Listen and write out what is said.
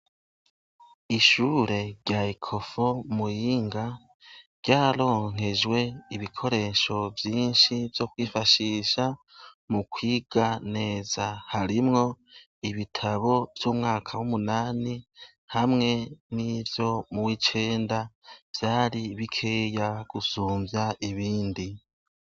Ishure rya ekofo muyinga ryaronkejwe ibikoresho vyinshi vyo kwifashisha mu kwiga neza harimwo ibitabo vy'umwaka w'umunani hamwe n'ivyo mu w'icenda vyari bikeya gusumvya ibindi.